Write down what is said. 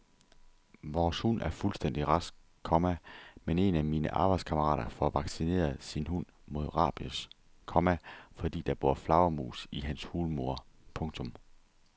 Vores hund er fuldstændig rask, komma men en af mine arbejdskammerater får vaccineret sin hund mod rabies, komma fordi der bor flagermus i hans hulmur. punktum